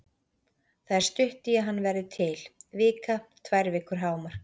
Það er stutt í að hann verði til, vika, tvær vikur hámark.